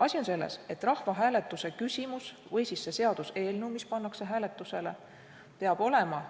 Asi on selles, et rahvahääletuse küsimus või see seaduseelnõu, mis pannakse hääletusele, peab olema